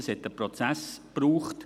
Dafür hat es einen Prozess gebraucht.